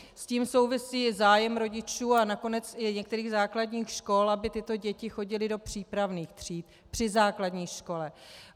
S tím souvisí zájem rodičů a nakonec i některých základních škol, aby tyto děti chodily do přípravných tříd při základní škole.